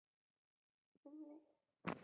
Um leið er bent á leiðir til úrbóta.